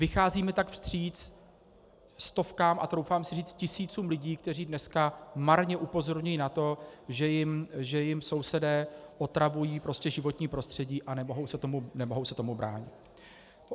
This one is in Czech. Vycházíme tak vstříc stovkám a troufám si říct tisícům lidí, kteří dneska marně upozorňují na to, že jim sousedé otravují životní prostředí, a nemohou se tomu bránit.